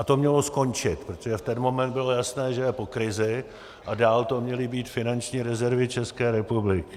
A to mělo skončit, protože v ten moment bylo jasné, že je po krizi, a dál to měly být finanční rezervy České republiky.